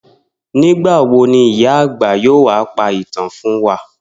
Nígbà wo ni ìyá àgbà yóò wá pa ìtàn fún wa?